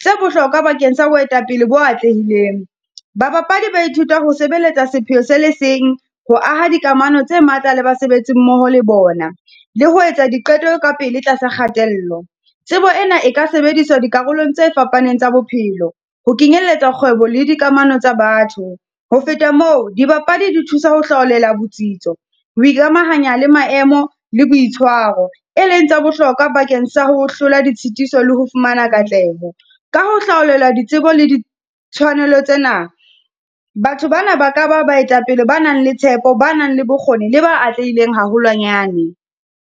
tse bohlokwa bakeng sa boetapele bo atlehileng. Ba bapadi ba ithuta ho sebeletsa sephetho se le seng, ho aha dikamano tse matla le basebetsi mmoho le bona, le ho etsa diqeto ka pele tlasa kgatello. Tsebo ena e ka sebediswa dikarolong tse fapaneng tsa bophelo, ho kenyelletsa kgwebo le dikamano tsa batho. Ho feta moo, dibapadi di thusa ho hlaolela botsitso, ho ikamahanya le maemo le boitshwaro, e leng tsa bohlokwa bakeng sa ho hlola ditshitiso le ho fumana katleho. Ka ho hlaolela ditsebo le di tshwanelo tsena, batho ba na ba ka ba baetapele ba nang le tshepo, ba nang le bokgoni le ba atlehileng haholwanyane.